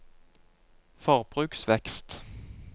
forbruksvekst